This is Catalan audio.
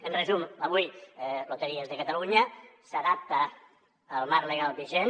en resum avui loteries de catalunya s’adapta al marc legal vigent